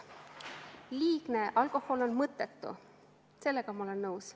Liigne alkohol on mõttetu, sellega ma olen nõus.